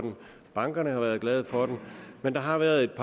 bankerne har været glade for den men der har været